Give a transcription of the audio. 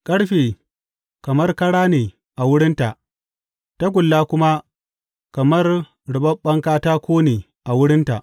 Ƙarfe kamar kara ne a wurinta tagulla kuma kamar ruɓaɓɓen katako ne a wurinta.